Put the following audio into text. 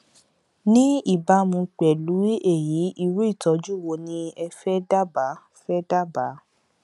ní ìbámu pẹlú èyí irú ìtọjú wo ni ẹ fẹ dábàá fẹ dábàá